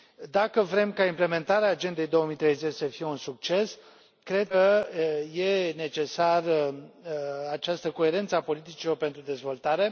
Dacă vrem ca implementarea Agendei 2030 să fie un succes, cred că e necesară această coerență a politicilor pentru dezvoltare.